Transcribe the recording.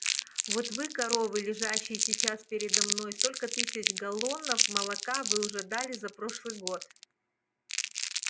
вот вы коровы лежащие сейчас передо мной сколько тысяч галлонов молока вы уже дали за прошлый год